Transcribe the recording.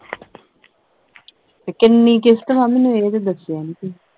ਤੇ ਕਿੰਨੀ ਕਿਸ਼ਤ ਵਾ ਮਹੀਨੇ ਦੀ ਇਹ ਤੇ ਦੱਸਿਆ ਨਹੀਂ ਤੁਹੀ